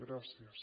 gràcies